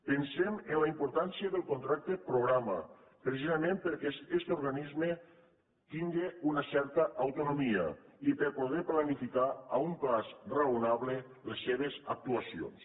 pensem en la importància del contracte programa precisament perquè este organisme tingui una certa autonomia i per poder planificar a un termini raonable les seves actuacions